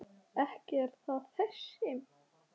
Ekki er það þessi.